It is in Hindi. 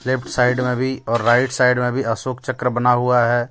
लेफ्ट साइड में भी और राइट साइड में भी अशोक चक्र बना हुआ है.